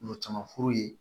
Ɲɔ caman furu ye